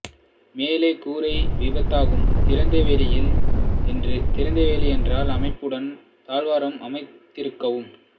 மேலே கூரை வீதிப்பக்கம் திறந்தவெளி என்ற அமைப்புடன் தாழ்வாரம் அமைந்திருக்கும்